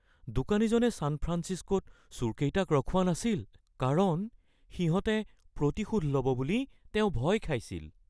দোকানীজনে ছান ফ্ৰাঞ্চিস্কোত চোৰকেইটাক ৰখোৱা নাছিল কাৰণ সিহঁতে প্ৰতিশোধ ল’ব বুলি তেওঁ ভয় খাইছিল।